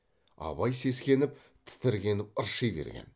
абай сескеніп тітіркеніп ырши берген